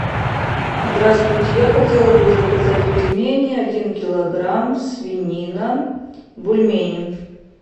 здравствуйте я хотела бы заказать пельмени один килограмм свинина бульмени